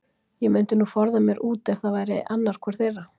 Ég mundi nú forða mér út ef það væri annar hvor þeirra.